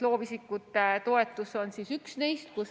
Loovisikute toetus on üks neist.